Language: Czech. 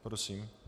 Prosím.